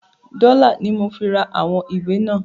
“Dọ́là"ni mo fi ra àwọn ìwé náà.